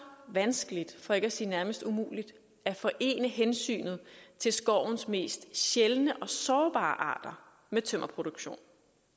vanskeligt for ikke at sige nærmest umuligt at forene hensynet til skovens mest sjældne og sårbare arter med tømmerproduktion